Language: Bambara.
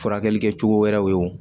Furakɛli kɛcogo wɛrɛw ye o